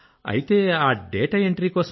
అయితే ఆ డేటా ఎంట్రీకోసం అక్కడ